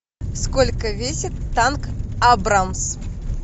сколько весит танк абрамс